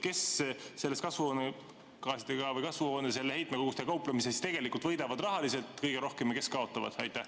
Kes selles kasvuhoonegaaside heitkogustega kauplemises tegelikult võidavad rahaliselt kõige rohkem ja kes kaotavad?